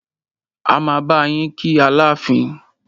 A máa bá yín kí Aláàfin.